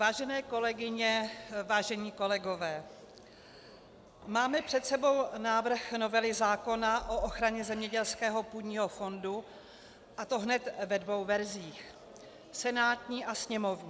Vážené kolegyně, vážení kolegové, máme před sebou návrh novely zákona o ochraně zemědělského půdního fondu, a to hned ve dvou verzích - senátní a sněmovní.